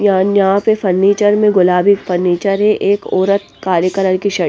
यह न्या यहाँ पे फर्नीचर में गुलाबी फर्नीचर है एक औरत काले कलर की शर्ट --